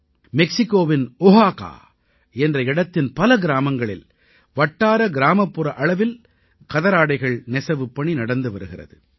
மெக்சிகோவின் ஓஹாகா என்ற இடத்தின் பல கிராமங்களில் வட்டார கிராமப்புற அளவில் கதராடைகள் நெசவுப்பணி நடந்து வருகிறது